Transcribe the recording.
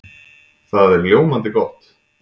Það er ljómandi gott!